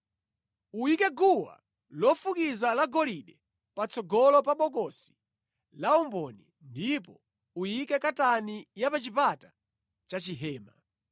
Uyike guwa lofukiza la golide patsogolo pa bokosi la umboni ndipo uyike katani ya pa chipata cha chihema.